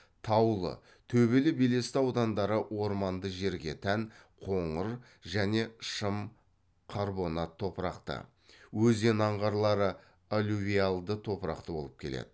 таулы төбелі белесті аудандары орманды жерге тән қоңыр және шым қарбонат топырақты өзен аңғарлары алювиалды топырақты болып келеді